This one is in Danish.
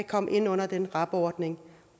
komme ind under den rab ordning